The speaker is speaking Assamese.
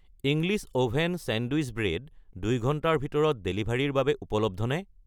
ইংলিছ অ'ভেন চেণ্ডউইচ ব্ৰেড ২ ঘণ্টাৰ ভিতৰত ডেলিভাৰীৰ বাবে উপলব্ধ নে?